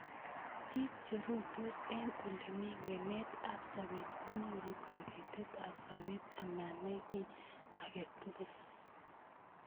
Bik cheruitos eng olemi ng'emet ab soet konyoru kabetet ab sabet amanai ki age tugul.